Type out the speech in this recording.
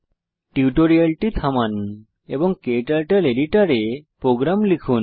টিউটোরিয়ালটি থামান এবং ক্টার্টল এডিটরে প্রোগ্রাম লিখুন